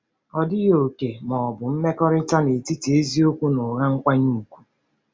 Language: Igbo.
Ọdịghị òkè ma ọ bụ mkpakọrịta netiti eziokwu na ụgha nkwanye ùgwù.